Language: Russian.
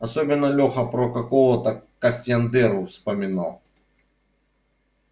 особенно леха про какого-то кастаньеду вспоминал